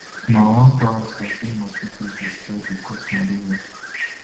na one parasite wey mosquitoes dey spread dey cause malaria